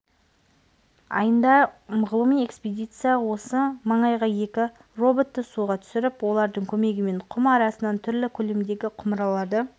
айында ғылыми экспедиция осы маңайғаекі роботты суға түсіріп олардың көмегімен құм арасынан түрлі көлемдегі құмыраларды